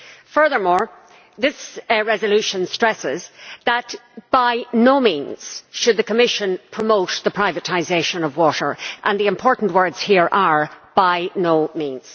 Furthermore, this resolution stresses that, by no means, should the Commission promote the privatisation of water, and the important words here are by no means'.